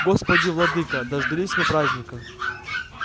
господи владыко дождались мы праздника